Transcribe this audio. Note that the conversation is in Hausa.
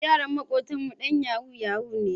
Yaron maƙotanmu ɗan yahu-yahu ne.